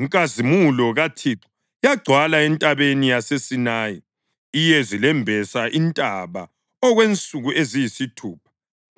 inkazimulo kaThixo yagcwala entabeni yaseSinayi. Iyezi lembesa intaba okwensuku eziyisithupha